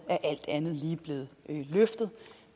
alt andet lige er blevet løftet